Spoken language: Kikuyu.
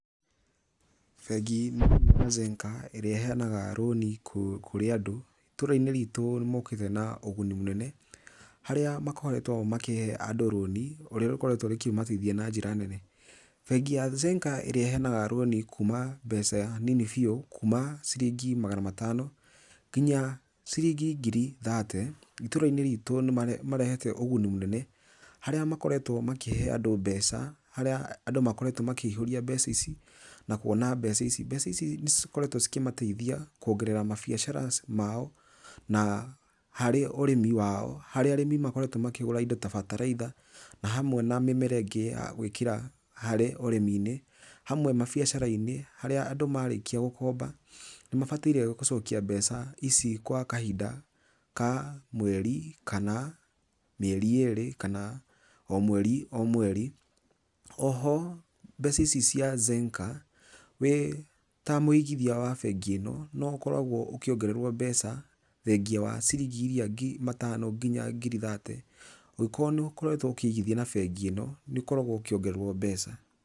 Bengi nene ya Zenka ĩrĩa ĩheanaga rũni kũrĩ andũ ĩtũra-inĩ ritũ nĩ mokĩte na ũguni mũnene harĩa makoretwo makĩ andũ rũni rũrĩa rũkoretwo rũkĩmateithia na njĩra nene, bengi ya Zenka ĩrĩa ĩheanaga rũni kũma mbeca nini biũ kuma ciringi magana matano nginya ciringi ngiri thate itũrai-inĩ rĩtũ nĩ marehete ũguni munene harĩa makoretwo makĩhe andũ mbeca harĩa andũ makoretwo makĩihũria mbeca ici nakuona mbeca ici, mbeca ici nĩcikoretwo ikĩmateithia kũongerera mabiacara mao na harĩ ũrĩmi wao harĩa arĩmi makoretwo makĩgũra indo ta bataraitha na hamwe na mĩmera ingĩ ya gũikĩra harĩ ũrĩmi-inĩ hawe mabiacara-inĩ harĩa andũ marĩkia gũkomba nĩ mabatairie gũcokia mbeca ici gwa kahinda ka mweri kana mĩeri ĩrĩ kana o mweri o mweri ,oho mbeca ici cia Zenka wĩ ta mũigithia wa bengi ĩno no ũkĩoragwo mbeca thegia wa ciringi ĩrĩa matano nginya ngiri thate ũgĩkorwo nĩ ũkoretwo ũkĩigithia na bengi ĩno nĩ ũkoragwo ũkĩongererwo mbeca.